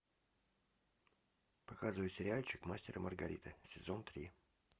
показывай сериальчик мастер и маргарита сезон три